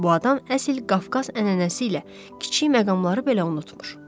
Bu adam əsl Qafqaz ənənəsi ilə kiçik məqamları belə unutmuru.